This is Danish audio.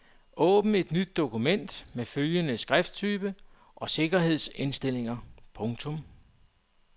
Åbn et nyt dokument med følgende skrifttype og sikkerhedsindstillinger. punktum